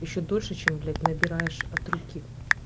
ещё дольше чем блять набираешь от руки